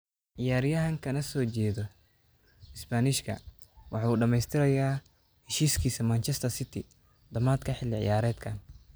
Ciyaaryahankanasoo jeedda Isbaanishka waxa uu dhamaystirayaa heshiiskiisa Manchester City dhamaadka xilli ciyaareedkan.